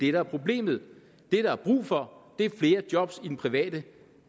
er problemet det der er brug for er flere job i den private